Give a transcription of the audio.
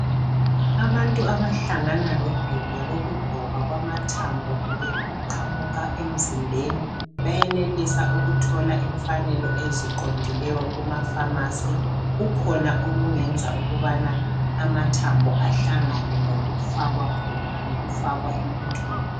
Abantu abahlangana lodubo lokugoba kwamathambo kumbe ukuqamuka emzimbeni bayenelisa ukuthola imfanelo eziqondileyo kumapharmacy. Kukhona okungenza ukubana amathambo ahlangane ngokufakwa emuntwini.